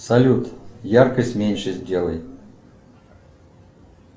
салют яркость меньше сделай